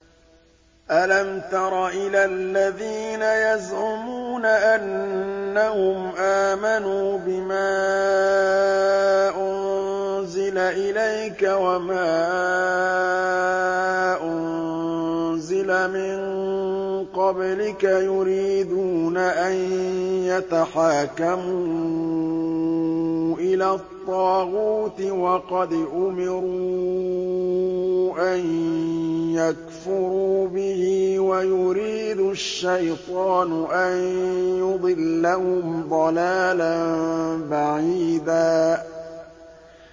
أَلَمْ تَرَ إِلَى الَّذِينَ يَزْعُمُونَ أَنَّهُمْ آمَنُوا بِمَا أُنزِلَ إِلَيْكَ وَمَا أُنزِلَ مِن قَبْلِكَ يُرِيدُونَ أَن يَتَحَاكَمُوا إِلَى الطَّاغُوتِ وَقَدْ أُمِرُوا أَن يَكْفُرُوا بِهِ وَيُرِيدُ الشَّيْطَانُ أَن يُضِلَّهُمْ ضَلَالًا بَعِيدًا